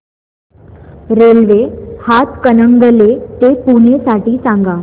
railway Hatkanangale ते पुणे साठी सांगा